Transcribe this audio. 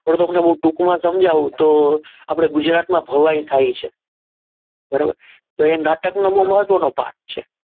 હવે હું તમને ટૂંકમાં સમજાવું તો આપણે ગુજરાતમાં ભવાઈ થાય છે બરોબર તો એ નાટકનું મહત્વનો ભાગ છે.